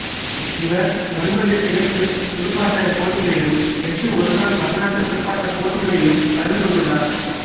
இவர் ஒன்பது தேர்வுத் துடுப்பாட்டப் போட்டிகளிலும் எட்டு ஒருநாள் பன்னாட்டுத் துடுப்பாட்டப் போட்டிகளிலும் கலந்து கொண்டுள்ளார்